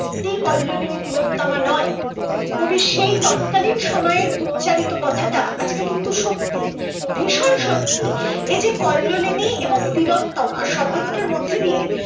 সত্যি কল্লোলিনী তিলোত্তমা নয় কবি সেই তৎকালীন সময়ের উচ্চারিত কথাটা আজকে কিন্তু সত্যি ভীষণ সত্যি এই যে কল্লোলিনী এবং তিলোত্তমা শব্দ দুটোর মধ্যে দিয়ে